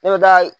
Ne bɛ taa